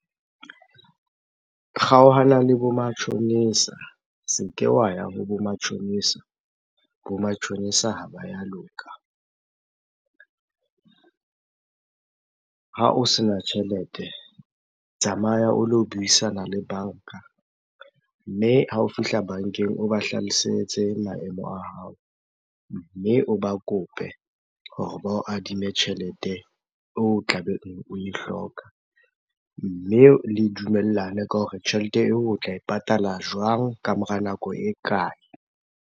Kgaohana le bo matjhonisa, se ke wa ya ho bo matjhonisa. Bo matjhonisa ha ba ya loka. Ha o sena tjhelete, tsamaya o lo buisana le banka mme ha o fihla bankeng, o ba hlalosetse maemo a hao. Mme o ba kope hore ba o adime tjhelete eo tlabe oe hloka. Mme le dumellane ka hore tjhelete eo o tla e patala jwang? Ka mora nako e kae?